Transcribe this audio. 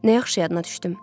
Nə yaxşı yadıma düşdüm.